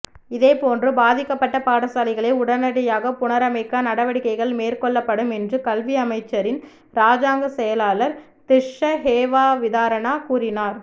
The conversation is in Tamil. இதேபோன்று பாதிக்கப்பட்ட பாடசாலைகளை உடனடியாக புனரமைக்க நடவடிக்கைகள் மேற்கொள்ளப்படும் என்றும் கல்வி அமைச்சின் இராஜாங்க செயலாளர் திஸ்ஸ ஹேவாவிதாரண கூறினார்